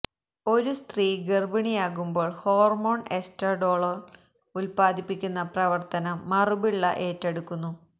ഒരു സ്ത്രീ ഗർഭിണിയാകുമ്പോൾ ഹോർമോൺ എസ്റ്റാഡോളോൾ ഉത്പാദിപ്പിക്കാനുള്ള പ്രവർത്തനം മറുപിള്ള ഏറ്റെടുക്കുന്നു